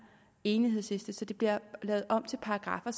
enighedsliste så det bliver lavet om til paragraffer